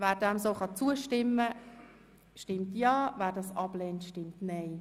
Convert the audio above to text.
Wer diesem so zustimmen kann, stimmt Ja, wer ihn ablehnt, stimmt Nein.